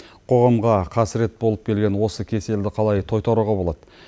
қоғамға қасірет болып келген осы кеселді қалай тойтаруға болады